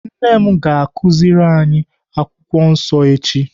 Nne m ga-akụziri anyị akwụkwọ nsọ echi.